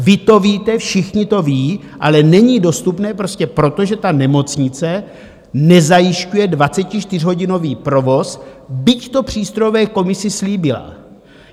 Vy to víte, všichni to vědí, ale není dostupné prostě proto, že ta nemocnice nezajišťuje 24hodinový provoz, byť to přístrojové komisi slíbila.